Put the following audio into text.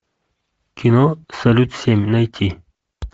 кино салют семь найти